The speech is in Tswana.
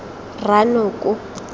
rranoko